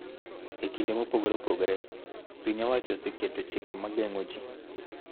E kinde mopogore opogore, piny owacho oseketo chike ma geng�o ji,